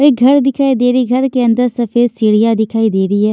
एक घर दिखाई दे रही घर के अंदर सफेद सीढ़ियां दिखाई दे रही है।